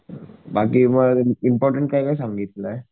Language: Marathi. बाकी मग इम्पॉर्टन्ट काय काय सांगितलंय?